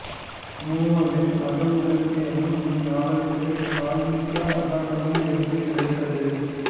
மு வ வின் அகல்விளக்கு எனும் இந்நாவலுக்கு சாகித்ய அகாதெமி விருது கிடைத்தது